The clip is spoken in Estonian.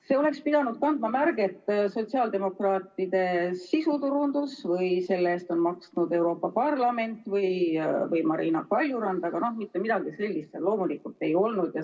See oleks pidanud kandma märget "Sotsiaaldemokraatide sisuturundus" või "Selle eest on maksnud Euroopa Parlament" või Marina Kaljurand, aga mitte midagi sellist seal loomulikult ei olnud.